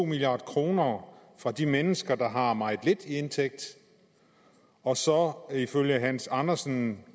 milliard kroner fra de mennesker der har meget lidt i indtægt og så ifølge herre hans andersen